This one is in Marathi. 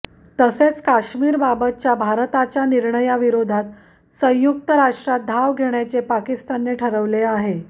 तसेच काश्मीरबाबतच्या भारताच्या निर्णयाविरोधात संयुक्त राष्ट्रात धाव घेण्याचे पाकिस्तानने ठरवले आहे